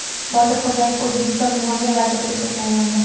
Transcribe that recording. Botir Xo‘jayev O‘zbekiston Moliya vaziri etib tayinlandi.